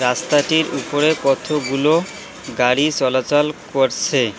রাস্তাটির উপরে কতগুলো গাড়ি চলাচল করসে।